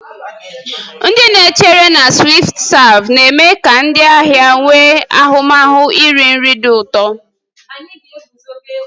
Ndị na-echere na "SwiftServe" na-eme ka ndị ahịa nwee ahụmahụ iri nri dị ụtọ.